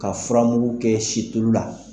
Ka furamugu kɛ situlu la